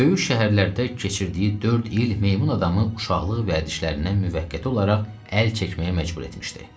Böyük şəhərlərdə keçirdiyi dörd il meymun adamı uşaqlıq vədişlərindən müvəqqəti olaraq əl çəkməyə məcbur etmişdi.